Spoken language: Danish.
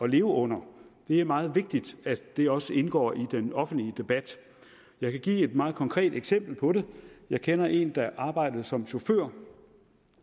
leve under det er meget vigtigt at det også indgår i den offentlige debat jeg kan give et meget konkret eksempel på det jeg kender en der arbejdede som chauffør